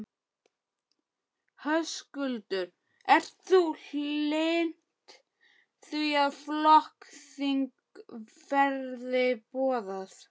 Höskuldur: Ert þú hlynnt því að flokksþing verði boðað?